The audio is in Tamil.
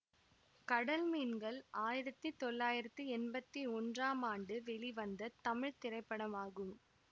கடல் மீன்கள் ஆயிரத்தி தொள்ளாயிரத்தி எம்பத்தி ஒன்றாம் ஆண்டு வெளிவந்த தமிழ் திரைப்படமாகும்